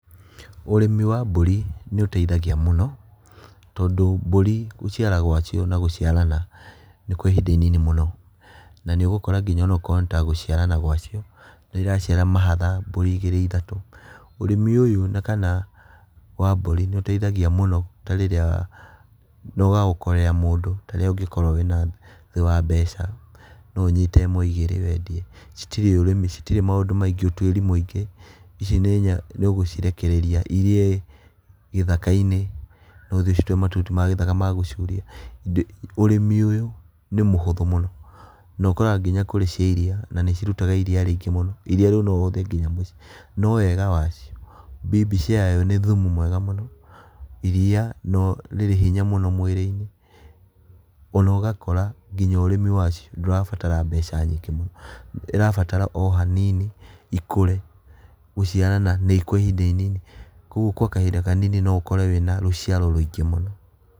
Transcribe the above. Ũrĩmi wa mbũri nĩũtethagia mũno tondũ mbũri gũciara gwacio na gũciarana nĩ kwa ihinda inini mũno, na nĩũgũkora nginya onokorwo nĩta gũciarana gwacio nĩiraciara mahatha mbũri igĩrĩ ithatũ, ũrĩmi ũyũ na kana wa mbũri nĩũteithagia mũno ta rĩrĩa noga okolea mũndũ ta rĩrĩa ũngĩkorwo wĩna thĩ wa mbeca, noũnyite ĩmwe igĩrĩ wendie, citirĩ ũrĩmi citirĩ maũndũ maingĩ ũtuĩri mwĩingĩ, ici nĩ nyamũ nĩũgũcirekereria irie gĩthaka-inĩ kana ũthiĩ ũcituĩre mahuti ma gĩthaka ma gũcuria, ũrĩmi ũyũ nĩ mũhũthũ mũno na ũkoraga nginya kũrĩ cia iria na nĩcirutaga iria rĩingĩ mũno, iria rĩu noũhũthĩre nginya mũciĩ.No wega wacio bibi ciayo nĩ thumu mwega mũno, iria no nĩrĩ hinya mũno mwĩrĩ-inĩ, ona ũgakora nginya ũrĩmi wacio ndũrabatara mbeca nyingĩ mũno, ĩrabatara o hanini ikũre, gũciarana nĩ kwa ihinda inini, koguo kwa kahinda kanini noũkore wĩna rũciaro rũingĩ mũno.